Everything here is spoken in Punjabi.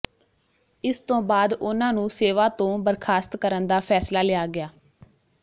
ਇਸ ਤੋਂ ਬਾਅਦ ਉਨ੍ਹਾਂ ਨੂੰ ਸੇਵਾ ਤੋਂ ਬਰਖਾਸਤ ਕਰਨ ਦਾ ਫੈਸਲਾ ਲਿਆ ਗਿਆ